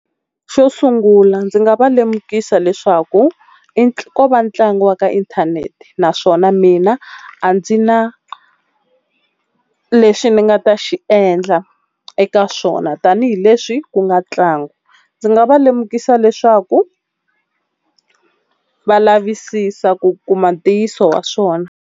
Xo sungula ndzi nga va lemukisa leswaku ko va ntlangu wa ka inthanete naswona mina a ndzi na lexi ni nga ta xi yi endla eka swona tanihileswi ku nga tlangu. Ndzi nga va lemukisa leswaku va lavisisa ku kuma ntiyiso wa swona.